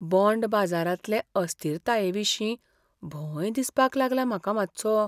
Bond बाजारांतले अस्थिरतायेविशीं भंय दिसपाक लागला म्हाका मातसो.